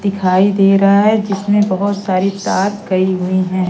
दिखाई दे रहा है जिसमें बहोत सारी तार कई हुई है।